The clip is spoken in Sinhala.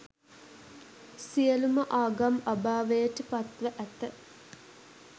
සියලු ම ආගම් අභාවයට පත් ව ඇත.